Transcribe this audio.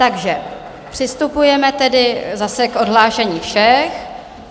Takže přistupujeme tedy zase k odhlášení všech.